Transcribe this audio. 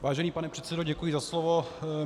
Vážený pane předsedo, děkuji za slovo.